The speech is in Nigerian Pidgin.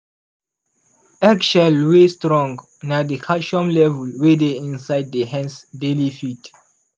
eggshell wey strong na the calcium level wey dey inside the hen's daily feed.